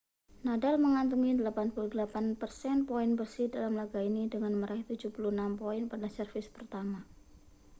nadal mengantongi 88% poin bersih dalam laga ini dengan meraih 76 poin pada servis pertama